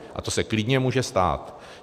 A to se klidně může stát.